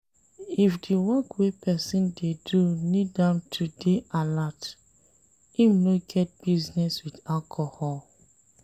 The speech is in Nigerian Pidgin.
If di work wey person dey do need am to dey alert, im no get business with alcohol